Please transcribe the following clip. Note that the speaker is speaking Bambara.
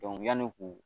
yanni u k'u